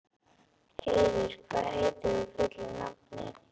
Heiður, hvað heitir þú fullu nafni?